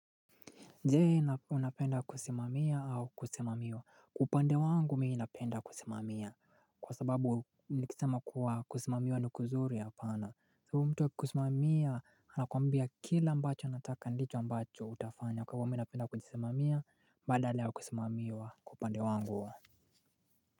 Je unapenda kusimamia au kusimamiwa. Upande wangu mimi napenda kusimamia. Kwa sababu nikisema kuwa kusimamiwa ni kuzuri hapana. Mtu wa kukusimamia anakuambia kile ambacho anataka ndicho ambacho utafanya. Kwa mimi napenda kujisimamia badala ya kusimamiwa kwa upande wangu.